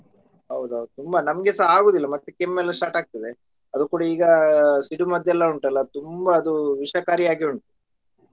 ಹೌದು ಹೌದು ತುಂಬಾ ನಮ್ಗೆಸ ಆಗುದಿಲ್ಲಾ ಮತ್ತೆ ಕೆಮ್ಮ್ ಎಲ್ಲ start ಆಗ್ತದೆ ಅದು ಕೂಡಾ ಈಗಾ ಸಿಡಿಮದ್ದೆಲ್ಲ ಉಂಟಲ್ಲ ತುಂಬಾ ಅದು ವಿಷಕಾರಿ ಆಗಿ ಉಂಟು.